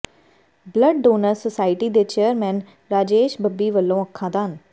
blood donors society ਦੇ chairman Rajesh Babbi ਵਲੋਂ ਅੱਖਾਂ ਦਾਨ